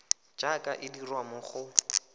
jaaka e dirwa mo go